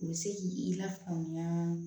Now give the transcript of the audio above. U bɛ se k'i lafaamuya